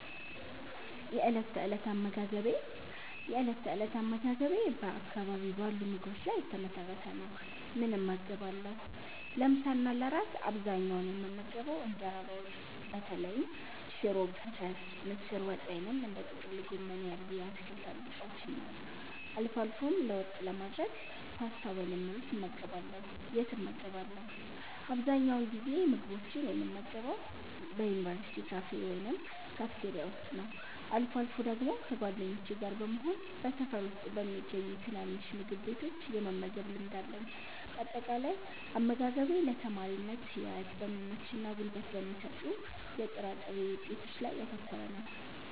የእለት ተእለት አመጋገቤ የእለት ተእለት አመጋገቤ በአካባቢው ባሉ ምግቦች ላይ የተመሰረተ ነው፦ ምን እመገባለሁ? ለምሳ እና ለእራት በአብዛኛው የምመገበው እንጀራ በወጥ (በተለይም ሽሮ ፈሰስ፣ ምስር ወጥ ወይም እንደ ጥቅል ጎመን ያሉ የአትክልት አልጫዎችን) ነው። አልፎ አልፎም ለውጥ ለማድረግ ፓስታ ወይም ሩዝ እመገባለሁ። የት እመገባለሁ? አብዛኛውን ጊዜ ምግቦችን የምመገበው በዩኒቨርሲቲ ካፌ ወይም ካፍቴሪያ ውስጥ ነው። አልፎ አልፎ ደግሞ ከጓደኞቼ ጋር በመሆን በሰፈር ውስጥ በሚገኙ ትናንሽ ምግብ ቤቶች የመመገብ ልማድ አለኝ። ባጠቃላይ፦ አመጋገቤ ለተማሪነት ህይወት በሚመችና ጉልበት በሚሰጡ የጥራጥሬ ውጤቶች ላይ ያተኮረ ነው።